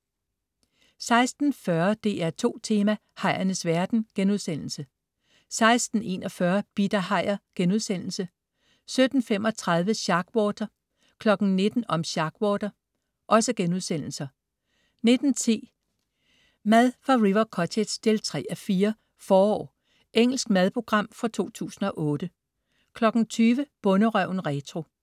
16.40 DR2 Tema: Hajernes verden* 16.41 Bidt af hajer* 17.35 Sharkwater* 19.00 Om Sharkwater* 19.10 Mad fra River Cottage 3:4. "Forår". Engelsk madprogram fra 2008 20.00 Bonderøven retro